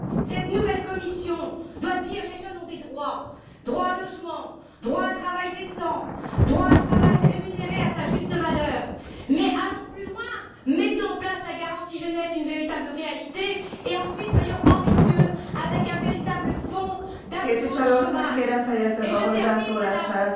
Cette nouvelle Commission doit dire que les jeunes ont des droits droit au logement, droit à un travail décent, droit à un travail rémunéré à sa juste valeur, mais allons plus loin, mettons en place la garantie jeunesse une véritable réalité et, ensuite, soyons ambitieux avec un véritable fonds d'assurance chômage.